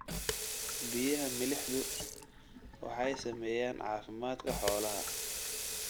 Biyaha milixdu waxay saameeyaan caafimaadka xoolaha.